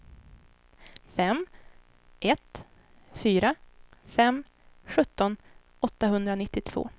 fem ett fyra fem sjutton åttahundranittiotvå